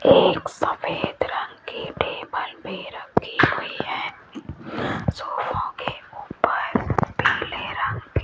एक सफेद रंग की टेबल भी रखी हुई है सोफो के ऊपर पीले रंग की --